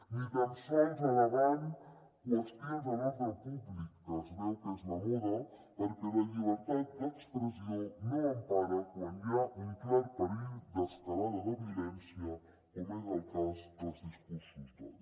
ni tan sols al·legant qüestions de l’ordre públic que es veu que és la moda perquè la llibertat d’expressió no empara quan hi ha un clar perill d’escalada de violència com és el cas dels discursos d’odi